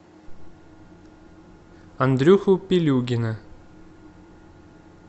андрюху пилюгина